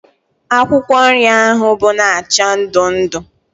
Akwụkwọ nri ahụ bụ na acha ndụ ndụ